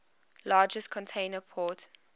largest container port